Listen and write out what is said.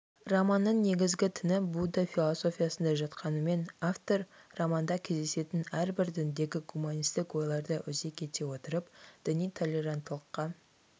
романның негізгі тіні будда философиясында жатқанымен автор романда кездесетін әрбір діндегі гуманистік ойларды өзек ете отырып діни толеранттылыққа